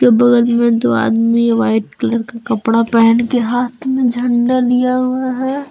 बगल में दो आदमी व्हाइट कलर का कपड़ा पेहन के हाथ में झंडा लिया हुआ है।